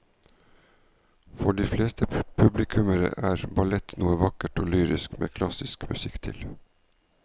For de fleste publikummere er ballett noe vakkert og lyrisk med klassisk musikk til.